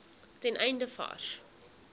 ten einde vars